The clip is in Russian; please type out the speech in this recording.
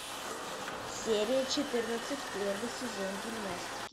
серия четырнадцать первый сезон гимнастики